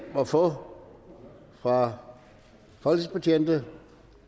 at få fra folketingsbetjentene